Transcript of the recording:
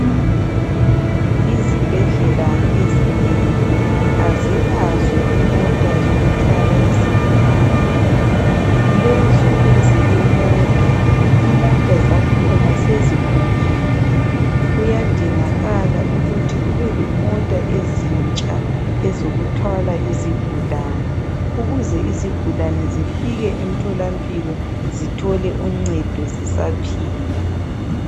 Izibhedlela ezinengi azilazo imota zokuthwala izigulane. Lezo ezilemota, imota zakhona sezigugile. Kuyadingakala ukuthi kube lemota ezintsha ezokuthwala izigulane, ukuze izigulane zifike emtholampilo zithole uncedo zisaphila.